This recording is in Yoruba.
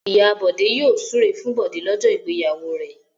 Ìyá Bọ̀dé yóò súre fún Bọ̀dé lọ́jọ́ ìgbéyàwó rẹ̀.